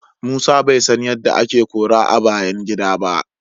Musa bai san yadda ake kora a bayan gida ba.